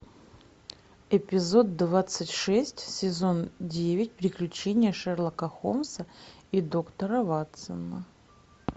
эпизод двадцать шесть сезон девять приключения шерлока холмса и доктора ватсона